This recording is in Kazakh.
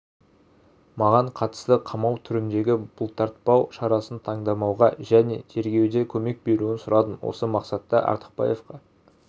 маған қатысты қамау түріндегі бұлтартпау шарасын таңдамауға және тергеуде көмек беруін сұрадым осы мақсатта артықбаевқа